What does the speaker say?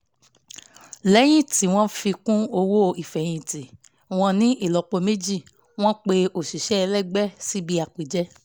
lẹ́yìn tí wọ́n fi kún owó ìfẹ̀yìntì wọn ní ìlọ́po méjì wọ́n pe òṣìṣẹ́ ẹlẹgbẹ́ síbi àpèjẹ